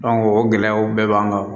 o gɛlɛyaw bɛɛ b'an kan